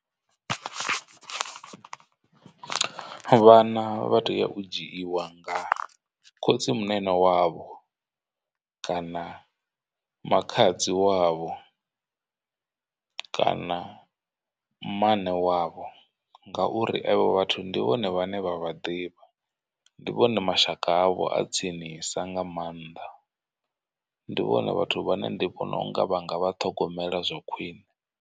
Vhana vha tea u dzhiiwa nga khotsimunene wavho kana makhadzi wavho kana mmane wavho, ngauri evho vhathu ndi vhone vhane vha vha ḓivha. Ndi vhone mashaka avho a tsinisa nga maanḓa ndi vhone vhathu vhane ndi vhona unga vhanga vha ṱhogomela zwa khwine.